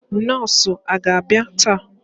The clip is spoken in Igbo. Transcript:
Nọọsụ aga abia taa?